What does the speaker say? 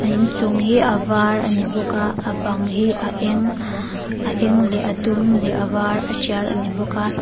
a inchung hi a var a ni bawk a a bang hi a eng a eng leh a dum leh a var a tial a ni bawk a.